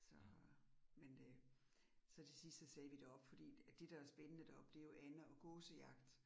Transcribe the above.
Så men øh så til sidst så sagde vi deroppe fordi det, der er spændende deroppe det jo ande- og gåsejagt